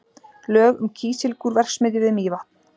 Lög um Kísilgúrverksmiðju við Mývatn.